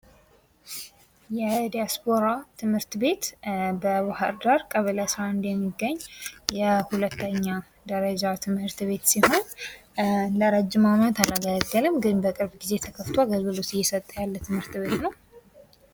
የዲያስፖራ ትምህርት ቤት ደባር ዳር ቀበሌ አስራአንድ የሚገኝ ሁለተኛ ደረጃ ትምህርት ቤት ሲሆን ደረጀም ዓመት አላገለገለም ግን በቅርብ ጊዜ ተከፍቶ አገልግሎት እየሰጠ ያለ ትምህርት ቤት ነው።